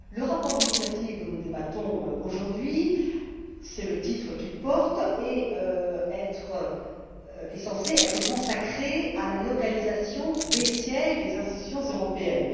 Le rapport d'initiative dont nous débattons aujourd'hui c'est le titre qu'il porte est censé être consacré à la localisation des sièges des institutions européennes.